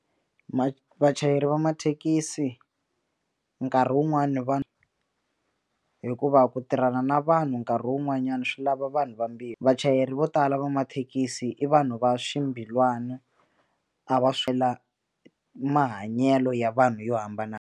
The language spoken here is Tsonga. Vachayeri va mathekisi nkarhi wun'wani va hikuva ku tirhana na vanhu nkarhi wun'wanyana swi lava vanhu vambirhi vachayeri vo tala va mathekisi i vanhu va swimbilwana a va mahanyelo ya vanhu yo hambana.